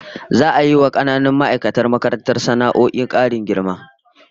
Za'a yi wa kananan ma'aikatan makarantar sana'o'in karin girma